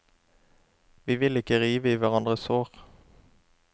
Vi vil ikke rive i hverandres sår.